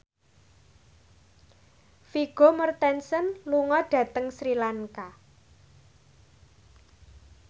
Vigo Mortensen lunga dhateng Sri Lanka